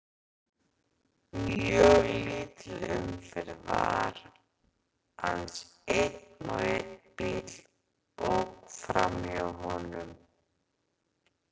Mjög lítil umferð var, aðeins einn og einn bíll ók fram hjá honum.